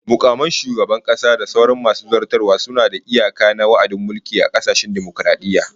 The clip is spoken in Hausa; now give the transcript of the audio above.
Mukaman shugaban kasa da sauran masu zartaswa suna da iyaka na wa'adin mulki a kasashen dimokaradiyya